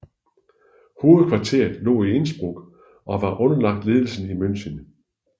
Hovedkvarteret lå i Innsbruck og var underlagt ledelsen i München